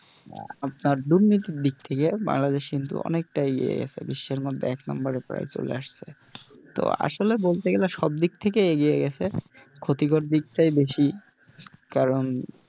আপনার দুর্নীতির দিক থেকে বাংলাদেশ কিন্তু অনেকটা এগিয়ে গেছে বিশ্বের মধ্যে এক number এ প্রায় চলে আসছে তো আসলে বলতে গেলে সব দিক থেকে এগিয়ে গেছে ক্ষতিকর দিকটাই বেশি কারণ,